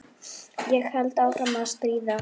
Ég held áfram að stríða.